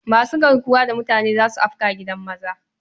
Masu garkuwa da mutane za su afka gidan maza.